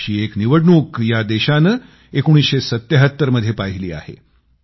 अशी एक निवडणूक या देशानं 1977 मध्ये पाहिली आहे